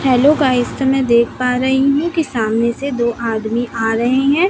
Hello guys तो मैं देख पा रहीं हूं कि सामने से दो आदमी आ रहे है।